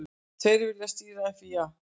Tveir vilja stýra FÍA